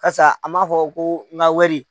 Kasa a m'a fɔ ko n ka wari.